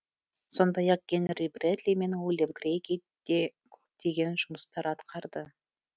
сондай ақ генри брэдли мен уильям крэйги де көптеген жұмыстар атқарды